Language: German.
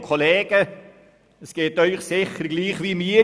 Ihnen geht es sicher gleich wie mir.